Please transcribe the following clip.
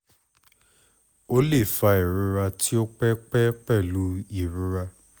o le fa irora ti o pẹ pẹ pẹlu irora